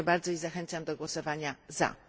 Dziękuję bardzo i zachęcam do głosowania za.